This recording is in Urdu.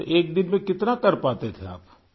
تو ایک دن میں کتنا کر پاتے تھے آپ!